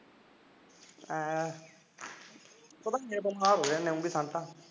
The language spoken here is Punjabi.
ਹਾਂ